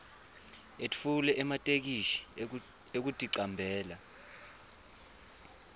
etfule ematheksthi ekuticambela